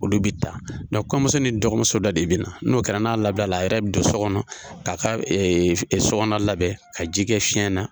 Olu bɛ taa kɔɲɔmuso ni dɔgɔmuso dɔ de bɛna n'o kɛra n'a labilala a yɛrɛ bɛ don so kɔnɔ ka ka so kɔnɔ labɛn ka ji kɛ fiɲɛ na.